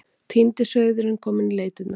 Týndi sauðurinn kominn í leitirnar.